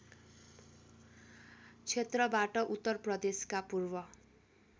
क्षेत्रबाट उत्तरप्रदेशका पूर्व